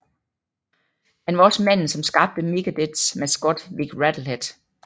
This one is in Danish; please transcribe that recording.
Han var også manden som skabte Megadeths maskot Vic Rattlehead